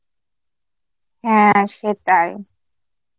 হ্যাঁ সেটাই.